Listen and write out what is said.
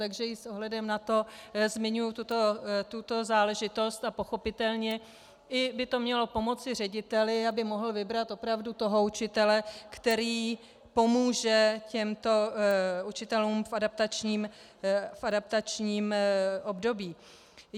Takže i s ohledem na to zmiňuji tuto záležitost a pochopitelně i by to mělo pomoci řediteli, aby mohl vybrat opravdu toho učitele, který pomůže těmto učitelům v adaptačním období.